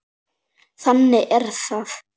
Þannig er það.